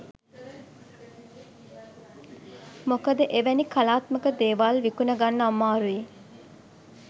මොකද එවැනි කලාත්මක දේවල් විකුණගන්න අමාරුයි.